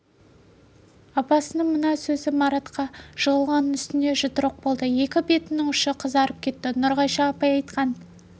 апасының мына сөзі маратқа жығылған үстіне жұдырық болды екі бетінің ұшы қызарып кетті нұрғайша апай айтқан